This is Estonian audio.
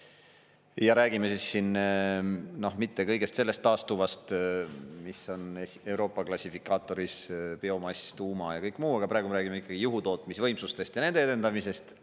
Ja räägime siin mitte kõigest sellest taastuvast, mis on Euroopa klassifikaatoris, biomass, tuum ja kõik muu, aga praegu me räägime ikkagi juhutootmisvõimsustest ja nende edendamisest.